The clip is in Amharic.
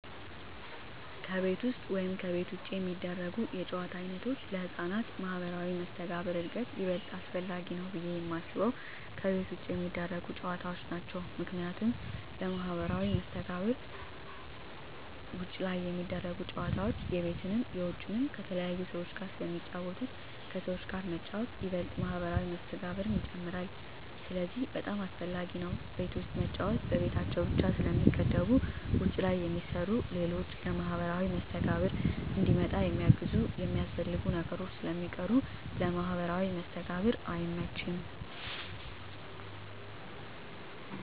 ከቤት ውስጥ ወይም ከቤት ውጭ የሚደረጉ የጨዋታ ዓይነቶች ለሕፃናት ማኅበራዊ መስተጋብር እድገት ይበልጥ አስፈላጊው ብየ የማስበው ከቤት ውጭ የሚደረጉ ጨዎታዎች ናቸው ምክንያቱም ለማህበራዊ መስተጋብር ውጭ ላይ ሚደረጉት ጨወታዎች የቤትንም የውጭንም ከተለያዩ ሰዎች ጋር ስለሚጫወቱ ከሰዎች ጋር መጫወት ይበልጥ ማህበራዊ መስተጋብርን ይጨምራል ስለዚህ በጣም አሰፈላጊ ነው ቤት ውስጥ መጫወት በቤታቸው ብቻ ስለሚገደቡ ውጭ ላይ የሚሰሩ ሌሎች ለማህበራዊ መስተጋብር እንዲመጣ የሚያግዙና የሚያስፈልጉ ነገሮች ስለሚቀሩ ለማህበራዊ መስተጋብር አይመችም።